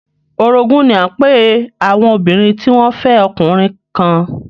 Orogún ní à ń pe àwọn obìnrin tí wọ́n fẹ́ ọkùnrin kan